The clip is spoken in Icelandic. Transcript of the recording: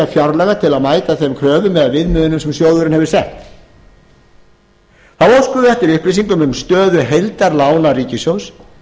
fjárlaga til að mæta þeim kröfum eða viðmiðunum sem sjóðurinn hefur sett óskað er upplýsinga um stöðu heildarlána ríkissjóðs